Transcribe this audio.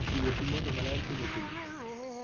Chiwo pi modho maler pile pile.